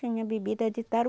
Tinha bebida de Taru